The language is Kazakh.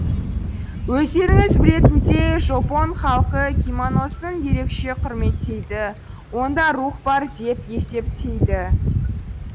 өздеріңіз білетіндей жопон халқы киманосын ерекше құрметтейді онда рух бар деп есептейді